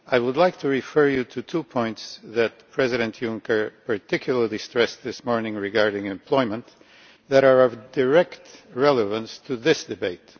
Mr President, I would like to refer you to two points that President Juncker particularly stressed this morning regarding employment that are of direct relevance to this debate.